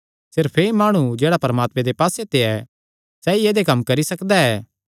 सिर्फ एह़ ई माणु जेह्ड़ा परमात्मे दे पास्से ते ऐ सैई ऐदेय कम्म करी सकदा ऐ